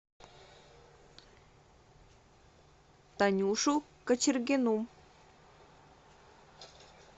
танюшу кочергину